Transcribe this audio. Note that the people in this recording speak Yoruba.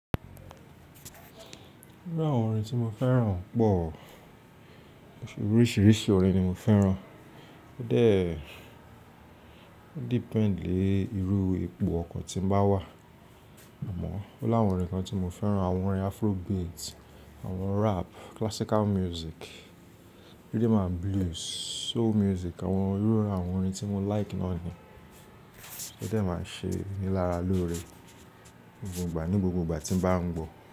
Gbígbà orin ti mo féràn púpọ̀, oríṣìíríṣìí orin ni mo féràn. Ó dè o depend le irú ipò ọkọ̀ tí mo bá wà. Àmọ́, o lá wan orín àwọn kan tí mo féràn àwọn orin Afrobeat, àwọn rap, classical music, rhythm and blues, soul music, àwọn irú irú àwọn orin tí mo like náà ni. Ó dẹ̀ máa ṣe mi lára lóore gbogbo ìgbà ní gbogbo ìgbà ti mo bá ń gbọ̀.